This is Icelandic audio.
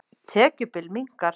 Tekjubil minnkar